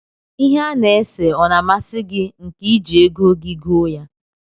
Ihe a na-ese ọ na amasi gi nke iji ego gi goo ya?